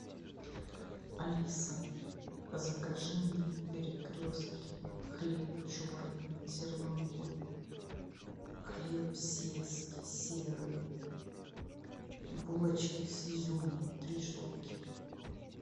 алиса закажи мне в перекрестке хлеб черный зерновой хлеб сельский серый булочки с изюмом три штуки